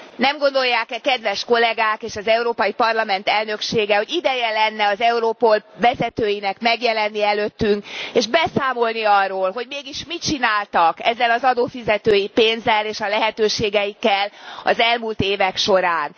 Nem gondolják e kedves kollegák és az Európai Parlament Elnöksége, hogy ideje lenne az Europol vezetőinek megjelenni előttünk, és beszámolni arról, hogy mégis mit csináltak ezzel az adófizetői pénzzel és a lehetőségeikkel az elmúlt évek során.